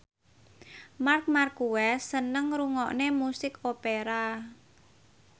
Marc Marquez seneng ngrungokne musik opera